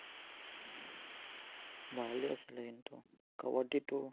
ভালেই আছিলে, কিন্তু। কাবাদ্দীটো